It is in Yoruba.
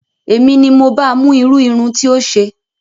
Èmi ni mo ba mú irú irun tí ó ṣe